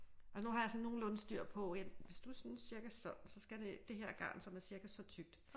Og nu har jeg sådan nogenlunde styr på at hvis du er sådan cirka sådan så skal det her garn som er cirka så tykt